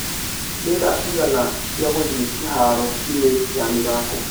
nĩ thaa cigana cĩa gũthiĩkĩharo -inĩya mĩthako